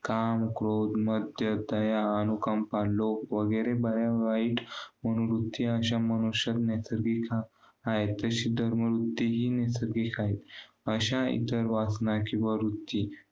काम, क्रोध, मद्य, दया, अनुकंप, लोभ वगैरे बऱ्यावाईट, अनुभूती अशा मनुष्यात नैसर्गिकरीत्या आहेत. तशी धर्म वृत्तीही नैसर्गिक आहे. अशा एक जर वासना किंवा वृत्ती